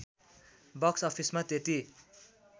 box अफिसमा त्यति